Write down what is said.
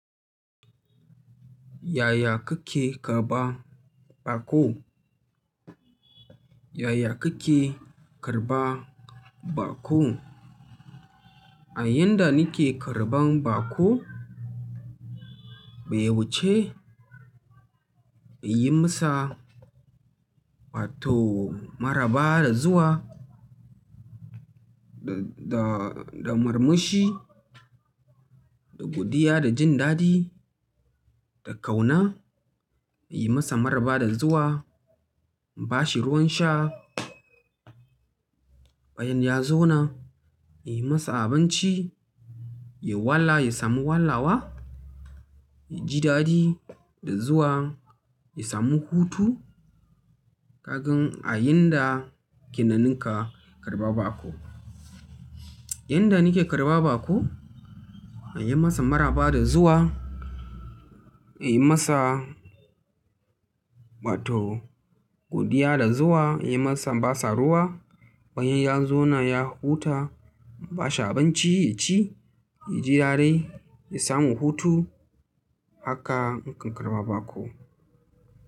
Yaya kake karɓar baƙo? Yaya kake karɓa baƙo? A yan da nike karɓan baƙo, bai wuce, in yi masa wato maraba da zuwa, da, da, da murmushi, da godiya, da jin daɗi, da ƙauna. In yi masa maraba da zuwa, in bashi ruwan sha. Bayan ya zauna, in yi masa abinci, ya wala, ya samu walawa, ya ji daɗi, da zuwa, ya samu hutu. Kagan a yanda kennan na kan karɓa baƙo. Yanda nike karɓan baƙo, in yi masa maraba da zuwa, in yi masa wato godiya da zuwa, in yi masa, in ba sa ruwa. Bayan ya zauna, ya huta, in bashi abinci ya ci, ya ji daɗi, ya samu hutu. Haka nake karɓan baƙo.